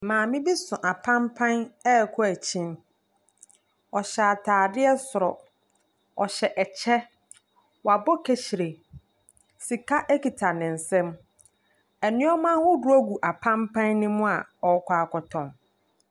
Maame bi so apampan rekɔ akyini. Ↄhyɛ ataadeɛ soro, ɔhyɛ ɛkyɛ, wabɔ kahyire. Sika kuta ne nsam. Nneɛma ahodoɔ gu apampan no mu a ɔrekɔ akɔtɔn .